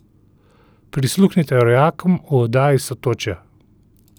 Prisluhnite rojakom v oddaji Sotočja!